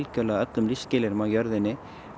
öllum lífsskilyrðum á jörðinni